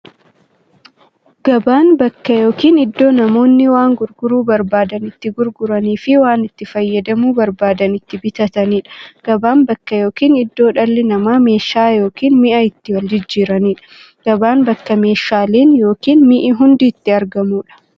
Gabaan bakka yookiin iddoo namoonni waan gurguruu barbaadan itti gurguraniifi waan itti fayyadamuu barbaadan itti bitataniidha. Gabaan bakka yookiin iddoo dhalli namaa meeshaa yookiin mi'a itti waljijjiiraniidha. Gabaan bakka meeshaaleen ykn mi'i hundi itti argamuudha.